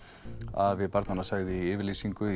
afi barnanna segir í yfirlýsingu